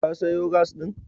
Ka sayo gas ɗin?